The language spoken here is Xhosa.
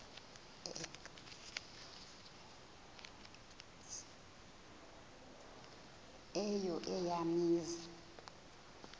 eyo eya mizi